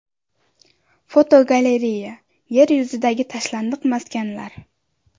Fotogalereya: Yer yuzidagi tashlandiq maskanlar.